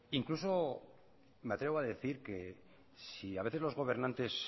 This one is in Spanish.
incluso me atrevo a decir que si a veces los gobernantes